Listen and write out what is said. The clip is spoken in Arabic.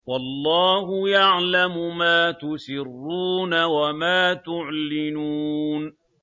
وَاللَّهُ يَعْلَمُ مَا تُسِرُّونَ وَمَا تُعْلِنُونَ